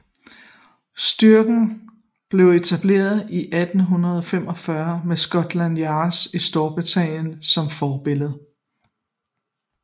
Styrken blev etableret i 1845 med Scotland Yard i Storbritannien som forbillede